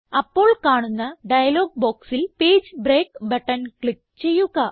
അപ്പോൾ കാണുന്ന ഡയലോഗ് ബോക്സിൽ പേജ് ബ്രേക്ക് ബട്ടൺ ക്ലിക്ക് ചെയ്യുക